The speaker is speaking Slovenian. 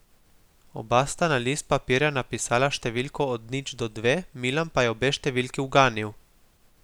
Oba sta na list papirja napisala številko od nič do dve, Milan pa je obe številki uganil.